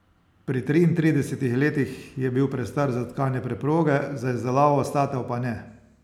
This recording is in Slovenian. Pri triintridesetih letih je bil prestar za tkanje preproge, za izdelavo statev pa ne.